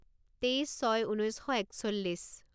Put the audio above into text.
তেইছ ছয় ঊনৈছ শ একচল্লিছ